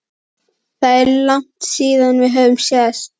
Það er langt síðan við höfum sést